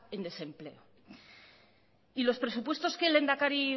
en desempleo y los presupuestos que el lehendakari